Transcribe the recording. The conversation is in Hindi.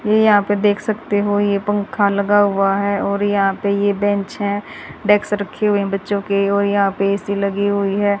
ये यहां पे देख सकते हो ये पंखा लगा हुआ है और यहां पे ये बेंच हैं डेस्क रखी हुई है बच्चों के और यहां पे ए_सी लगी हुई है।